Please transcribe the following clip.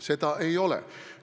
Seda ei ole.